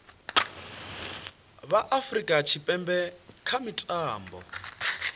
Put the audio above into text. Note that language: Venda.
vha afurika tshipembe kha mitambo